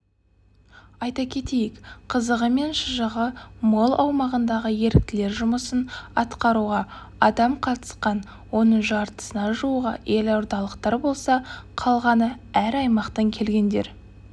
айта кетейік қызығы мен шыжығы мол аумағындағы еріктілер жұмысын атқаруға адам қатысқан оның жартысына жуығы елордалықтар болса қалғаны әр аймақтан келгендер